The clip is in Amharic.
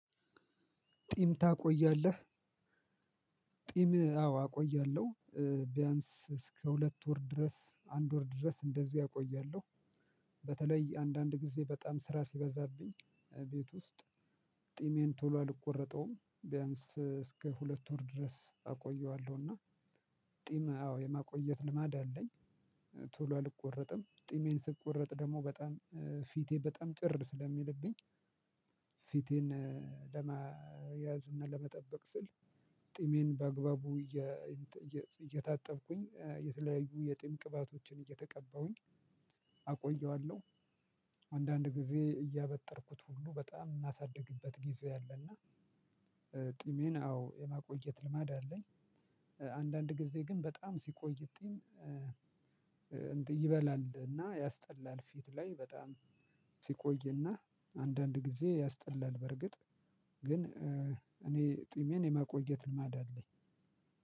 ጢም ታቆያለህ? ጢም አዎ አቆያለሁ ቢያንስ እስከ ሁለት ወር ድረስ አንድ ወር ድረስ እንደዚያ አቆያለሁ። በተለይ አንዳንድ ጊዜ በጣም ስራ ሲበዛብኝ ቤት ውስጥ ጢሜን ቶሎ አልቆረጠውም ቢያንስ እስከ ሁለት ወር ድረስ አቆየዋለሁ። እና ጢም አዎ የማቆየት ልማድ አለኝ። ቶሎ አልቆረጥም ጢሜን ስቆርጥ ደግሞ በጣም ፊቴ በጣም ጭር ስለሚልብኝ። ፊቴን ለመያዝ እና ለመጠበቅ ስል ጥሜን በግባቡ እየታጠብኩኝ የተለያዩ የጥም ቅባቶችን እየተቀባሁኝ አቆየዋለሁ። አንዳንድ ጊዜ እያበጠርኩት ሁሉ በጣም የማሳድግበት ጊዜ አለና። ጢሜን አዎ የማቆየት ልማድ አለኝ። አንዳንድ ጊዜ ግን በጣም ሲቆይ ጢም ይበላልና ያስጠላል ፊት ላይ በጣም ሲቆይና አንዳንድ ጊዜ ያስጠላል። በርግጥ ግን እኔ ጥሜን የማቆየት ልማድ አለኝ።